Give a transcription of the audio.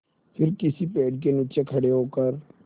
फिर किसी पेड़ के नीचे खड़े होकर